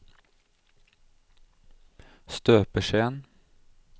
støpeskjeen